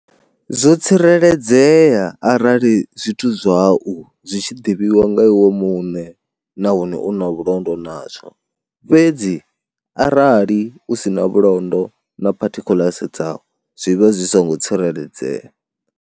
Zwo tsireledzea arali zwithu zwau zwi tshi ḓivhiwa nga iwe muṋe nahone u na vhulondo nazwo, fhedzi arali u si na vhulondo na particulars dzau zwi vha zwi songo tsireledzea.